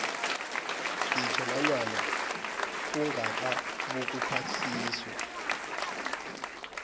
ngitjho nanyana ungakabukuphasiswa